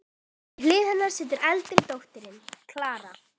Við hlið hennar situr eldri dóttirin, Klara.